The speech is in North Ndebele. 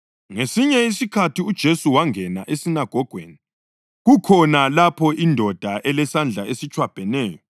Ngesinye isikhathi uJesu wangena esinagogweni, kukhona lapho indoda elesandla esitshwabheneyo.